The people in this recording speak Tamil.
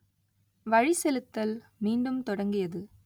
வழிசெலுத்தல் மீண்டும் தொடங்கியது